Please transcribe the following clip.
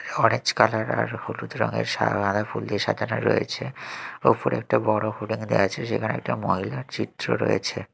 Orange colour আর হলুদ রঙের সা গাদা ফুল দিয়ে সাজানো রয়েছে ওপরে একটা বড় হোডিং দেখা যাচ্ছে সেখানে একটা মজাদার চিত্র রয়েছে।